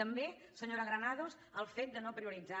també senyora granados el fet de no prioritzar